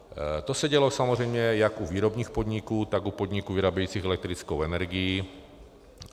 To se dělo samozřejmě jak u výrobních podniků, tak u podniků vyrábějících elektrickou energii.